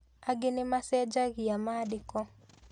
Angĩ nĩ macenjagia maandĩko